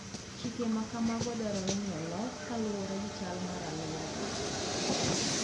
Chike ma kamago dwarore ni olok kaluwore gi chal mar aluora .